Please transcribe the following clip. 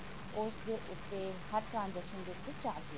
ਉਸ ਦੇ ਉੱਤੇ ਹਰ transaction ਦੇ ਉੱਤੇ charge ਲੱਗਣਗੇ